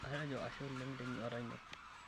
Atejo ashe oleng' tenyuata ino.